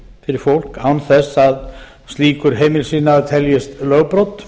fyrir fólk án þess að slíkur heimilisiðnaður teljist lögbrot